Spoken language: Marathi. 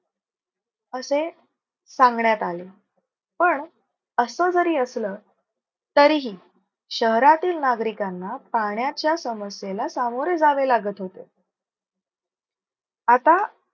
असे सांगण्यात आले. पण असं जरी असलं तरीही शहरातील नागरिकांना पाण्याच्या समस्येला सामोरे जावे लागत होते. आता